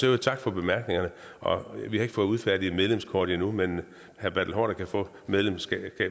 øvrigt tak for bemærkningerne vi har ikke fået udfærdiget et medlemskort endnu men herre bertel haarder kan få medlemskab